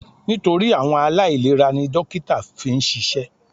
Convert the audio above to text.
Nítorí àwọn aláìlera ni dókítà fi ń ṣiṣẹ́.